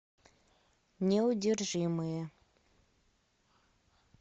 неудержимые